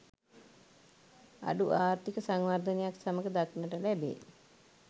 අඩු ආර්ථීක සංවර්ධනයත් සමඟ දක්නට ලැබේ.